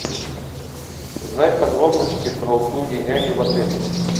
узнать подробности про услуги няни в отеле